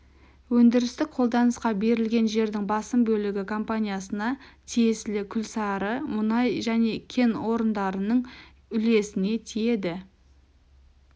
өндірістік қолданысқа берілген жердің басым бөлігі компаниясына тиесілі күлсары мұнай және кен орындарының үлесіне тиеді